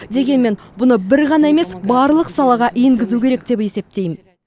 дегенмен бұны бір ғана емес барлық салаға енгізу керек деп есептеймін